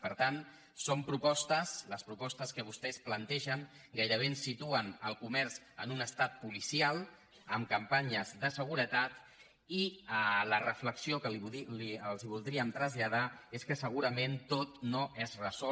per tant són propostes les propostes que vostès plantegen gairebé ens situen el comerç en un estat policial amb campanyes de seguretat i la reflexió que els voldríem traslladar és que segurament tot no es resol